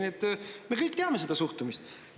Nii et me kõik teame seda suhtumist.